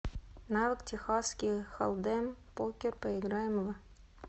навык техасский холдем покер поиграем в